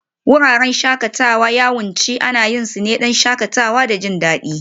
Wuraren shakatawa yawanci ana yin su ne don shakatawa da jin daɗi